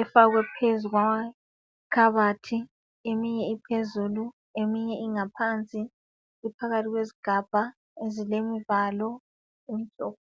Efakwe phezu kwamakhabathi. Eminye iphezulu, eminye ingaphansi. Iphakathi kwezigabha, ezilemvalo, emhlophe.